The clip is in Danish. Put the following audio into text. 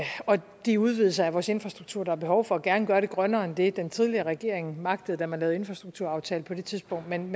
og de udvidelser af vores infrastruktur der er behov for og gerne gøre det grønnere end det den tidligere regering magtede da man lavede infrastrukturaftale på det tidspunkt men